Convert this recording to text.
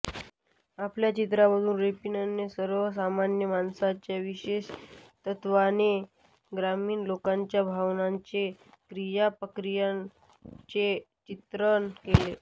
आपल्या चित्रांमधून रेपिनने सर्वसामान्य माणसांच्या विशेषत्वाने ग्रामीण लोकांच्या भावनांचे क्रियाप्रतिक्रियांचे चित्रण केले